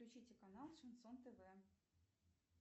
включите канал шансон тв